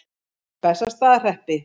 Bessastaðahreppi